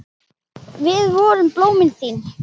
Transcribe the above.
Við vorum blómin þín.